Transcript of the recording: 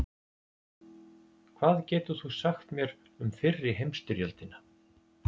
Hvað getur þú sagt mér um fyrri heimsstyrjöldina?